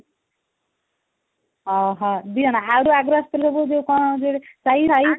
ଆଃ ହଁ ଦି ଜଣ ଆଉ ଯୋଉ ଆଗରୁ ଆସୁଥିଲେ ଯୋଉ କଣ ସାଇ